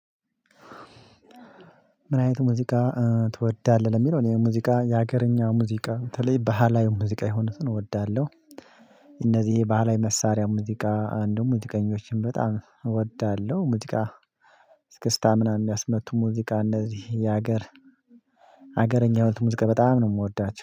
ምን? አይነት ሙዚቃ ትወዳለህ የሚለው እኔ ሙዚቃ የሀገረኛ ሙዚቃ ተለይ ባህላዊ ሙዚቃ የሆኑትን እወዳለሁ። እነዚህ ባህላዊ መሳሪያ ሙዚቃ አንዱም ሙዚቀኞችን በጣም እወዳለሁ። ሙዚቃ እስክስታ ምናምን የሚያስመጡ ሙዚቃ እነዚህ የሀገር ሀገርኛ ህይወት ሙዚቃ በጣም ነው የምወዳቸው